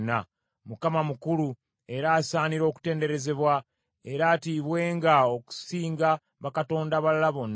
Mukama mukulu era asaanira okutenderezebwa; era atiibwenga okusinga bakatonda abalala bonna.